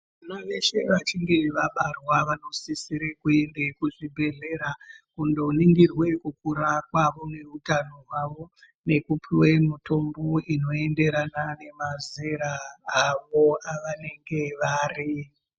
Vana veshe vachinge vabarwa vanosisire kuenda kuchibhedhlera kundoningirwa kukura kwavo nehutano hwavo nekupiwe mitombo inoenderana nemazera avo avanenge vari.